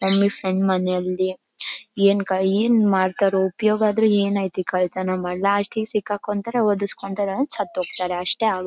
ನಮ್ ಫ್ರೆಂಡ್ ಮನೇಲಿ ಏನ್ ಮಡ್ತಾರೋ ಉಪಯೋಗ ಆದ್ರೂ ಏನೈತೆ ಕಳ್ತಾನಾ ಮಾಡಿ ಲಾಸ್ಟಿಗ್ ಸಿಕ್ ಹಾಕೊಂತಾರೆ ಒದಿಸ್ಕೊತಾರೆ ಸತ್ ಹೊಯ್ತಾರೆ ಅಷ್ಟೇ ಆಗೋದು --